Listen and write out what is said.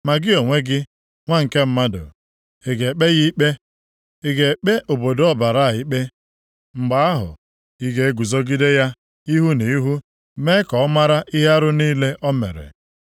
“Ma gị onwe gị, Nwa nke mmadụ, ị ga-ekpe ya ikpe? Ị ga-ekpe obodo ọbara a ikpe? Mgbe ahụ, ị ga-eguzogide ya ihu nʼihu mee ka ọ mara ihe arụ niile o mere.